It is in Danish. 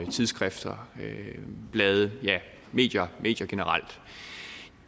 tidsskrifter blade ja medier medier generelt